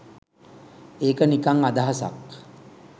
ඒක නිකං අදහසක් !